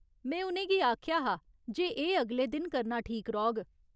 में उ'नेंगी आखेआ हा जे एह् अगले दिन करना ठीक रौह्ग।